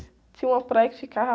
Tinha uma praia que ficava...